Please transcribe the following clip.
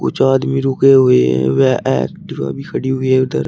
कुछ आदमी रुके हुए हैं व एक्टिवा भी खड़ी है उधर।